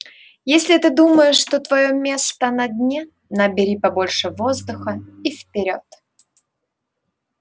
если ты думаешь что твоё место на дне набери побольше воздуха и вперёд